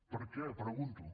per què ho pregunto